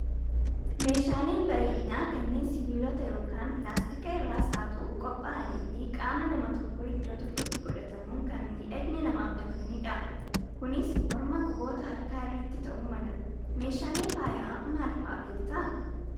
Meeshaaleen bareedinaa kanneen sibiilota yookaan pilaastika irraas haa ta'uu qophaa'anii fi qaama nama tokkoo iddoo tokkotti godhatamuun kan miidhagina namaaf dabalanidha. Kunis morma , quboota harkaa irratti ta'uu mala. Meeshaalee faayaa maal fa'aa beektaa?